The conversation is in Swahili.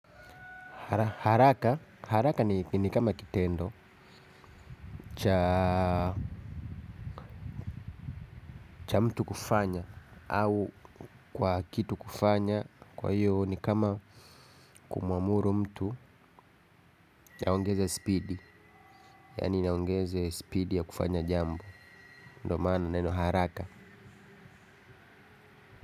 Haraka ni kama kitendo cha mtu kufanya au kwa kitu kufanya. Kwa hiyo ni kama kumuamuru mtu aongeze speed. Yaani aongeze speed ya kufanya jambo. Ndo maana neno haraka.